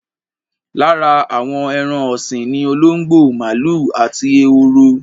Lára àwọn ẹran ọ̀sìn ni olóńgbò, màlúù àti ehoro.